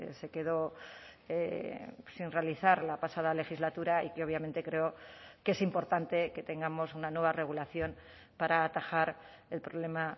se quedó sin realizar la pasada legislatura y que obviamente creo que es importante que tengamos una nueva regulación para atajar el problema